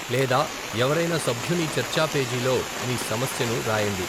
లేదా ఎవరైనా సభ్యుని చర్చాపేజీలో మీ సమస్యను రాయండి.